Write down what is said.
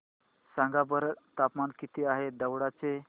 सांगा बरं तापमान किती आहे दौंड चे